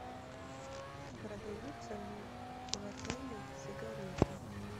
продаются ли в отеле сигареты